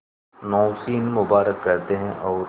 नौशीन मुबारक कहते हैं और